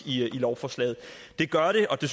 i lovforslaget det gør den og det